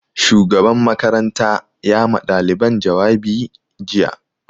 Shugaban makaranta ya ma ɗaliban jawabi jiya